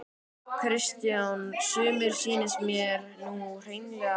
Kristján: Sumir sýnist mér nú hreinlega vera ónýtir?